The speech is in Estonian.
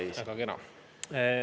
Jaa, väga kena.